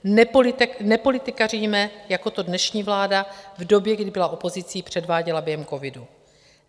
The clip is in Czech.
Nepolitikaříme, jako to dnešní vláda v době, kdy byla opozicí, předváděla během covidu.